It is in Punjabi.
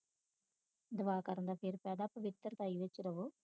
ਦੁਆ ਕਰਨ ਦਾ ਫੇਰ ਫਾਇਦਾ ਪਵਿੱਤਰਤਾ ਦੇ ਵਿਚ ਰਵੋ